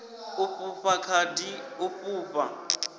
u fhufha khadi u fhufha